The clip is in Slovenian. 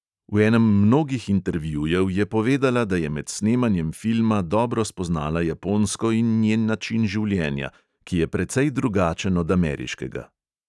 V enem mnogih intervjujev je povedala, da je med snemanjem filma dobro spoznala japonsko in njen način življenja, ki je precej drugačen od ameriškega.